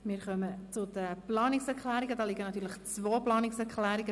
Wir kommen zu den beiden Planungserklärungen.